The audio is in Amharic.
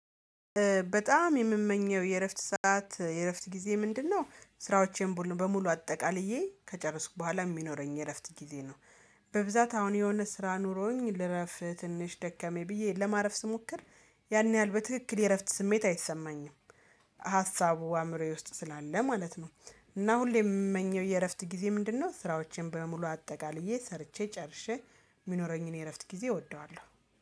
በጣም የምመኘው የእረፍት ሰዓት የእረፍት ጊዜ ምንድነው? ስራዎቼን በሙሉ አጠቃልዬ ከጨረስኩ በኋላ የሚኖረኝ የእረፍት ጊዜ ነው። በብዛት አሁን የሆነ ስራ ኑሮኝ ልረፍ ትንሽ ደከመኝ ብዬ ለማረፍ ስሞክር ያን ያህል በትክክል የእረፍት ስሜት አይሰማኝም። ሀሳቡ አእምሮዬ ውስጥ ስላለ ማለት ነው። እና ሁሌም የምመኘው የእረፍት ጊዜ ምንድነው? ስራዎቼን በሙሉ አጠቃልዬ ሰርቼ ጨርሼ የሚኖረኝን የእረፍት ጊዜ እወደዋለሁ